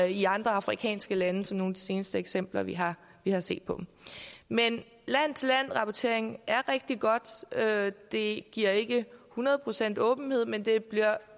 i andre afrikanske lande som de seneste eksempler vi har har set men land til land rapportering er rigtig godt det giver ikke hundrede procent åbenhed men det bliver